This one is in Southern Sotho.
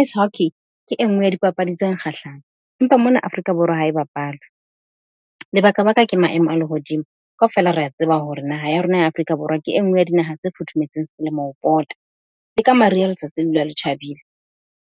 Ice hockey ke e nngwe ya dipapadi tse nkgahlang, empa mona Afrika Borwa ha e bapalwe, lebakabaka ke maemo a lehodimo. Kaofela re a tseba hore naha ya rona ya Afrika Borwa ke e nngwe ya dinaha tse futhumetseng selemo ho pota. Le ka mariha letsatsi le dula le tjhabile